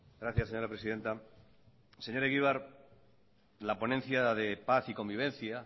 gracias señora presidenta señor egibar la ponencia de paz y convivencia